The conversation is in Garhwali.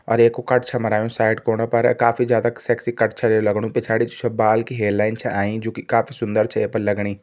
अर ऐ कु कट छ मरायूँ साइड कोणा पर काफी ज्यादा सेक्सी कट छे ये लगणू पिछाड़ी जु छ बाल कि हेयर लाइन छ आईं जु की काफी ज्यादा सुन्दर छ ये पर लगणी।